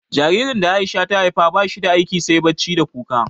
Jaririn da A'isha ta haifa ba shi da aiki sai bacci da kuka.